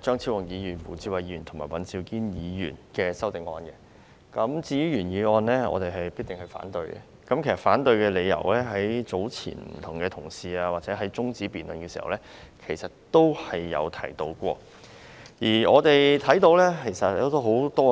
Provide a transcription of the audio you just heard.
張超雄議員、胡志偉議員及尹兆堅議員提出的修正案，至於原議案，我是定必反對的，而反對的理由，早前多位同事在中止待續議案辯論時也有提到。